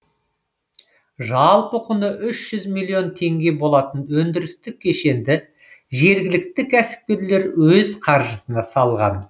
жалпы құны үш жүз миллион теңге болатын өндірістік кешенді жергілікті кәсіпкер өз қаржысына салған